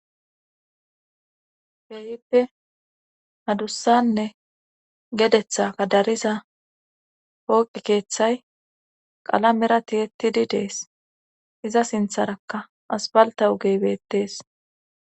Behipe hadussanne gedetha kadariza pooqi keeththay qalamera tiyettidi dees iza sintharakka asfalta ogeybettees.